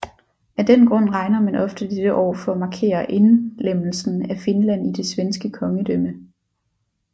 Af den grund regner man ofte dette år for at markere indlemmelsen af Finland i det svenske kongedømme